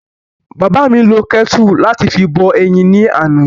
Bàbá mi lo kẹ́tù láti fi bọ eyin ni àná.